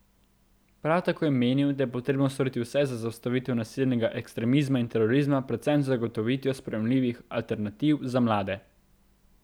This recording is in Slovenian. Prav tako je menil, da je potrebno storiti vse za zaustavitev nasilnega ekstremizma in terorizma predvsem z zagotovitvijo sprejemljivih alternativ za mlade.